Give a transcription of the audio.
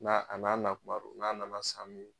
N'a a n'a nakuma don, n'a nana san min